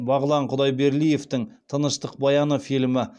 бағлан құдайберлиевтің тыныштық баяны фильмі